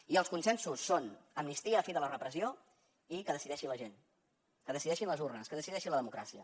i els consensos són amnistia fi de la repressió i que decideixi la gent que decideixin les urnes que decideixi la democràcia